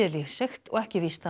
lífseigt og ekki víst að